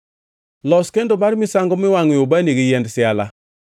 “Los kendo mar misango miwangʼoe ubani gi yiend siala.